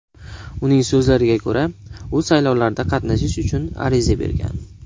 Uning so‘zlariga ko‘ra, u saylovlarda qatnashish uchun ariza bergan.